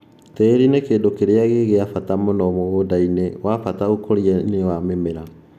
Tĩri ni kĩndu kĩrĩa gĩgĩa bata mũno mũgũndainĩ-wabata ũkũrianĩ wa mĩmera.